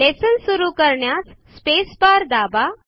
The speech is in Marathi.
लेसन सुरु करण्यास स्पेसबार दाबा